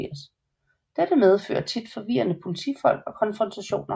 Dette medfører tit forvirrede politifolk og konfrontationer